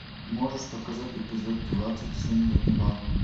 можешь показать эпизод двадцать семь ганнибал